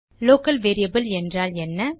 local variable என்றால் என்ன